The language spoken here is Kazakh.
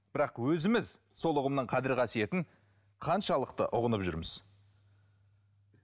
бірақ өзіміз сол ұғымның қадір қасиетін қаншалықты ұғынып жүрміз